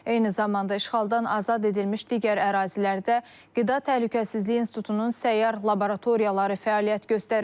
Eyni zamanda işğaldan azad edilmiş digər ərazilərdə Qida Təhlükəsizliyi İnstitutunun səyyar laboratoriyaları fəaliyyət göstərir.